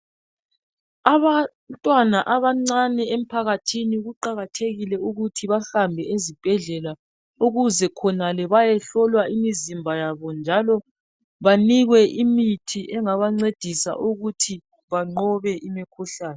Abantwana abancane emphakathini kuqakathekile ukuthi bahambe ezibhedlela ukuze khonale beyehlolwa imizimba yabo njalo banikwe imithi engabancedisa ukuthi banqobe imikhuhlane.